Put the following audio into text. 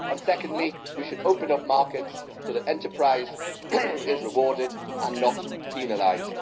secondly, we should open up markets so that enterprise is rewarded and not penalised.